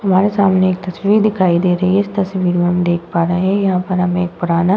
हमारे सामने एक तस्वीर दिखाई दे रही है। इस तस्वीर में हम देख पा रहे हैं यहाँ पर हमें एक पुराना --